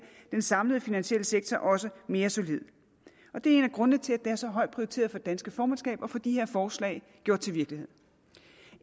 den samlede finansielle sektor også mere solid og det er en af grundene til at det er så højt prioriteret for det danske formandskab at få de her forslag gjort til virkelighed